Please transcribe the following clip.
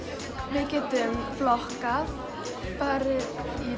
við getum flokkað farið